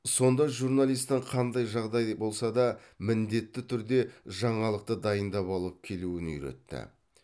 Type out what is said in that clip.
сонда журналистің қандай жағдай болса да міндетті түрде жаңалықты дайындап алып келуін үйретті